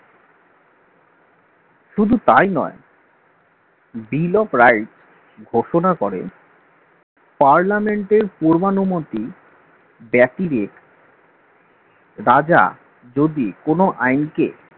শুধু তাই নয় bill of rights ঘোষণা করেন parliament এর পূর্বানুমতি ব্যতিরেক রাজা যদি কোন আইনকে